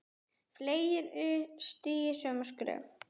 Fleiri stígi sömu skref?